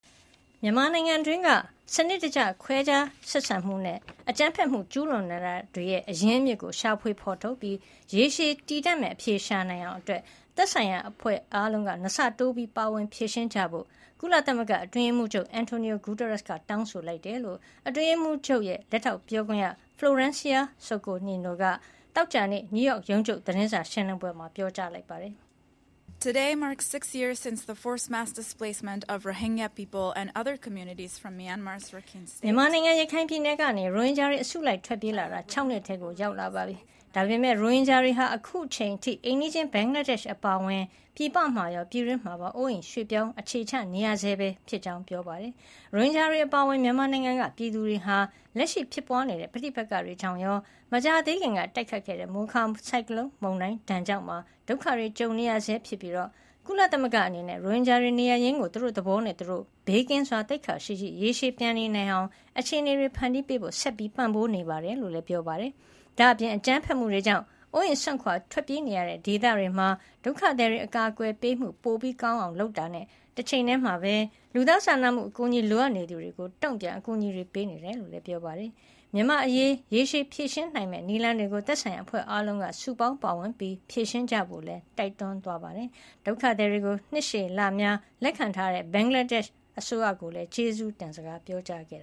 မြန်မာနိုင်ငံတွင်းက စနစ်တကျ ခွဲခြားဆက်ဆံမှုနဲ့ အကြမ်းဖက်မှု ကျူးလွန်နေတာတွေရဲ့ အရင်းအမြစ်ကို ရှာဖွေဖေါ်ထုတ်ပြီး ရေရှည်တည်တံ့မယ့် အဖြေရှာနိုင်အောင် သက်ဆိုင်ရာအဖွဲ့အားလုံး ၂ ဆတိုး ပါဝင်ဖြေရှင်းကြဖို့ ကုလအတွင်းရေးမှူးချုပ် Antonio Guterres က တောင်းဆိုလိုက်ကြောင်း အတွင်းရေးမှူးချုပ်ရဲ့ လက်ထောက်ပြောခွင့်ရ Florencia Soto Niño က သောကြာနေ့ နယူးရောက် ကုလရုံးချုပ် သတင်းစာရှင်းလင်းပွဲမှာ ပြောပါတယ်။ မြန်မာနိုင်ငံ ရခိုင်ပြည်နယ်ကနေ ရိုဟင်ဂျာတွေ အစုလိုက် ထွက်ပြေးလာတာ ၆ နှစ် ထဲရောက်လာပြီဖြစ်ပေမယ့် ရိုဟင်ဂျာတွေဟာ အခုအချိန်အထိ အိမ်နီးချင်း ဘင်္ဂလားဒေ့ရှ် အပါအဝင် ပြည်ပမှာရော ပြည်တွင်းမှာပါ အိုးအိမ်ရွှေ့ပြောင်း အခြေချနေရဆဲပဲဖြစ်ကြောင်း ပြောသွားတာပါ။ ရိုဟင်ဂျာတွေ အပါအဝင် မြန်မာနိုင်ငံက ပြည်သူတွေဟာ လက်ရှိဖြစ်ပွါးနေတဲ့ ပဋိပက္ခတွေကြောင့်ရော မကြာသေးခင်က တိုက်ခတ်ခဲ့တဲ့ မိုခါ ဆိုင်ကလုံး ဒဏ်ကြောင့်ပါ ဒုက္ခကြုံနေရဆဲဖြစ်ပြီး ကုလသမဂ္ဂအနေနဲ့ ရိုဟင်ဂျာတွေ နေရပ်ရင်းကို သူတို့သဘောနဲ့သူတို့ ဘေးကင်းစွာ၊ သိက္ခာရှိရှိ ရေရှည်ပြန်နေနိုင်အောင် အခြေနေတွေ ဖန်တီးပေးဖို့ ဆက်ပံ့ပိုးပေး နေကြောင်းလည်း ပြောပါတယ်။ ဒါ့အပြင် အကြမ်းဖက်မှုတွေကြောင့် အိုးအိမ်စွန့်ခွါ ထွက်ပြေးနေရတဲ့ ဒေသတွေမှာ ဒုက္ခသည် အကာကွယ်ပေးမှုတွေ ပိုကောင်းအောင် လုပ်ဆောင်တာနဲ့ တချိန်တည်းမှာပဲ လူသားစာနာမှုအကူညီ လိုအပ်နေသူတွေအတွက် တုံ့ပြန်အကူညီပေးနေတယ်လို့လည်း ပြောပါတယ်။ မြန်မာ့အရေး ရေရှည်ဖြေရှင်းနိုင်မယ့် နည်းလမ်းတွေကို သက်ဆိုင်ရာ အဖွဲ့အားလုံးက စုပေါင်းပါဝင်ပြီး ဖြေရှင်းကြဖို့လည်း တိုက်တွန်းပါတယ်။ ဒုက္ခသည်တွေကို နှစ်ရှည်လများ လက်ခံထားတဲ့ ဘင်္ဂလားဒေ့ရှ်ကိုလည်း ကျေးဇူတင်ကြောင်း ပြောကြားခဲ့